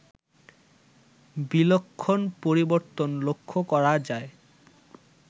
বিলক্ষণ পরিবর্তন লক্ষ করা যায়